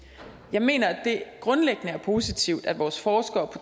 jeg mener at det grundlæggende er positivt at vores forskere på